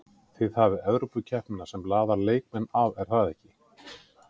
Þið hafið Evrópukeppnina sem laðar leikmenn að er það ekki?